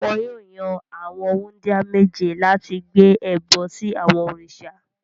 Wọn yóò yan àwọn wúńdíá méje láti gbé ẹbọ sí àwọn òrìṣà.